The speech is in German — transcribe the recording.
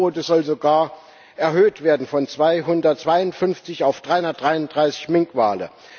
Die Fangquote soll sogar erhöht werden von 252 auf 333 Minkwale.